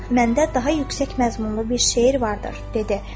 "Məndə daha yüksək məzmunlu bir şeir vardır" dedi.